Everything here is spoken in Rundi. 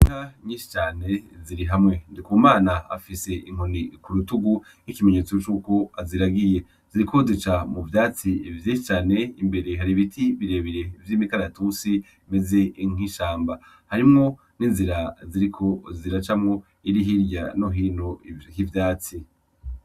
Inka nyinshi cane ziri hamwe . Ndikumana afise inkoni k’urutugu nk’ikimenyetso c’uko aziragiye, ziriko zica mu vyatsi vyinshi cane imbere hari ibiti birebire vy’imikaratusi bimeze nk’ishamba . Harimwo n’inzira ziriko ziracamwo iri hirya no hino k’ivyatsi.